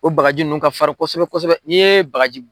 O bagaji nunnu ka fari kosɛbɛ kosɛbɛ bagajiw.